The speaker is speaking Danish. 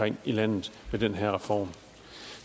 i landet med den her reform